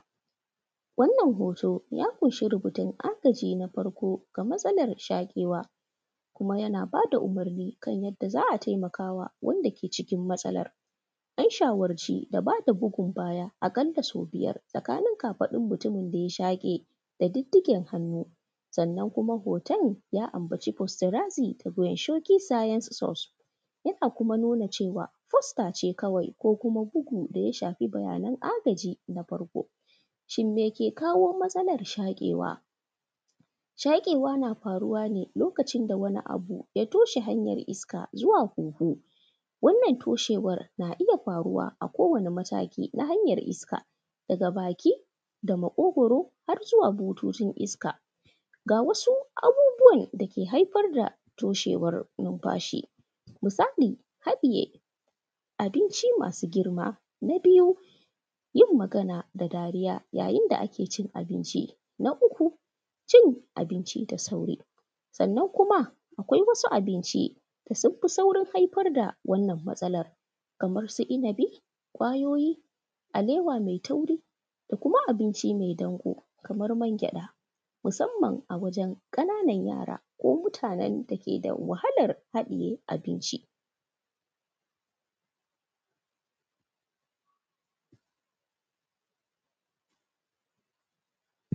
Wannan hoto ya ƙunshi rubutun agaji na farko ga matsalar shaƙewa kuma yana ba da umurni kan yadda za a taimakawa wanda ke cikin matsalar, an shawarci da ba da bugun baya aƙala sau biyar tsakanin kafaɗun mutumin da ya shaƙe da duddugen hannu. Sannan kuma hoton ya ambaci postarazim daga inshoki science sauce yana kuma nuna cewa postace kawai ko kuma bugun da ya shafi bayanan agaji na farko shin meke kawo matsalar shaƙewa? Shaƙewa na faruwa ne lokacin da wani abu ya toshe hanyar iska zuwa hunhu wannan toshewar na iya faruwa a kowane mataki na hanyar iska daga baki da maƙogwaro har zuwa bututun iska. Ga wasu abubuwan dake haifar da toshewar numfashi: musali haɗiye abinci masu girma, na biyu yin magana da dariya yayin da ake cin abinci, na uku cin abincin da sauri, sannan kuma akwai wasu abinci da sun fi sauƙin haifar da wannan matsalan kamar su inibi, kwayoyi, alewa mai tauri da kuma abinci mai danƙo kamar mangyaɗa musamman a wajen ƙana nan yara ko mutanen dake da wahalar haɗiye abinci.